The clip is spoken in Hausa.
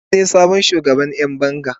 Abdul ne sabon shugaban Yan banga.